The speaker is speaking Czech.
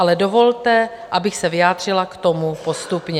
Ale dovolte, abych se vyjádřila k tomu postupně.